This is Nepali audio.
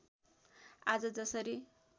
आज जसरी